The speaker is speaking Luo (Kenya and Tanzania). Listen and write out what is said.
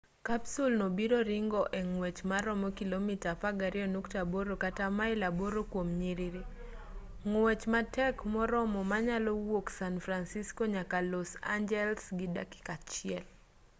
kapsul no biro ringo e ngwech maromo kilomita 12.8 kata mail 8 kuom nyiriri ng'wech matek moromo manyalo wuok san fransisco nyaka los angeles gi dakika achiel